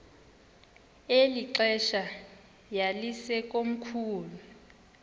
eli xesha yayisekomkhulu